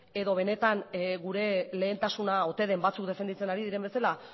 edo benetan gure lehentasuna ote den batzuk defenditzen ari diren bezala